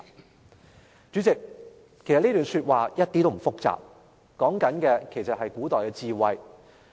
"代理主席，其實這段古語一點也不複雜，說的其實是古代的智慧。